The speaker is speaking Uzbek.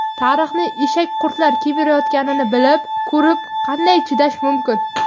Tarixni eshakqurtlar kemirayotganini bilib ko‘rib qanday chidash mumkin?.